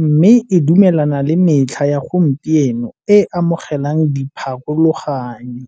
mme e dumelana le metlha ya gompieno e amogelang di pharologanyo.